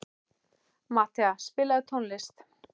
Matthea, spilaðu tónlist.